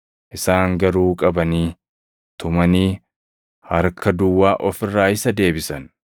Isaan garuu qabanii, tumanii harka duwwaa of irraa isa deebisan.